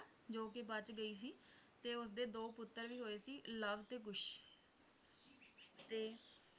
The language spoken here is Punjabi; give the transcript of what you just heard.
ਜੋ ਕਿ ਬਚ ਗਈ ਸੀ ਤੇ ਉਸਦੇ ਦੋ ਪੁੱਤਰ ਵੀ ਹੋਏ ਸੀ ਲਵ ਤੇ ਕੁਸ਼ ਤੇ